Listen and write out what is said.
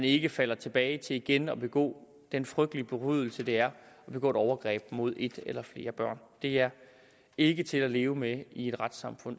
ikke falder tilbage til igen at begå den frygtelige forbrydelse det er at begå et overgreb mod et eller flere børn det er ikke til at leve med i et retssamfund